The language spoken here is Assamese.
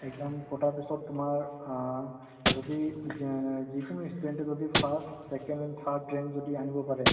exam পতাৰ পিছত তুমাৰ আ যদি যিকোনো student তে যদি first second third rank যদি আনিব পাৰে